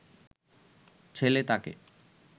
ছেলে তাকে